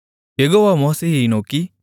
யெகோவா மோசேயை நோக்கி